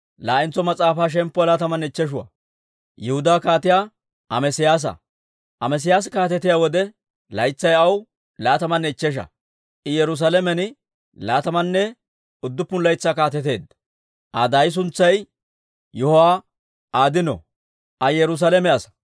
Amesiyaasi kaatetiyaa wode, laytsay aw laatamanne ichchesha; I Yerusaalamen laatamanne udduppun laytsaa kaateteedda. Aa daay suntsay Yiho'aadino; Aa Yerusaalame asaa.